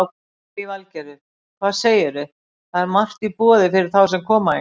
Lillý Valgerður: Hvað segir þú, það er margt í boði fyrir þá sem koma hingað?